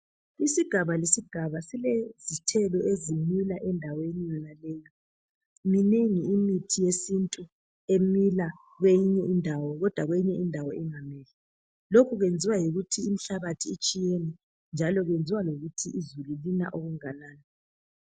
Isigaba lesigaba silezithelo ezimila endaweni yonaleyo. Minengi imithi yesintu emila kweyinye indawo, kodwa kweyinye indawo ingamili; lokho kwenziwa yikuthi imihlabathi itshiyene njalo kwenziwa yikuthi izulu lina okunganani.